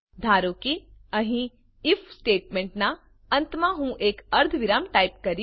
ધારો કે અહીં આઇએફ સ્ટેટમેંટ નાં અંતમાં હું એક અર્ધવિરામ ટાઈપ કરીશ